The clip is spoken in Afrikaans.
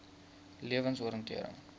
lewensoriëntering